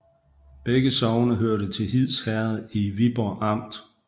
Begge sogne hørte til Hids Herred i Viborg Amt